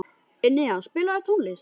Enea, spilaðu tónlist.